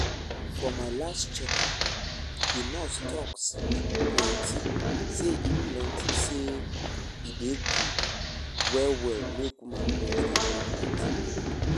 for my last check up the nurse talk plenty say e plenty say e dey good well well make women breast dey bring plenty milk.